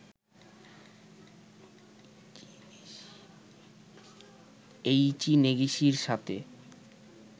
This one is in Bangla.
এই ইচি নেগিশির সাথে